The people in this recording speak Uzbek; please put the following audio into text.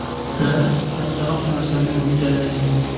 Ular kattaroq narsani mo‘ljallagan.